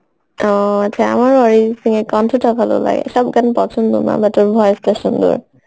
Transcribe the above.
ও আমার অরিজিত সিং এর কন্ঠটা খুব ভালো লাগে সব গান পছন্দ না but or voice টা সুন্দর